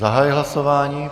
Zahajuji hlasování.